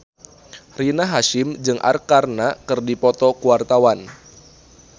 Rina Hasyim jeung Arkarna keur dipoto ku wartawan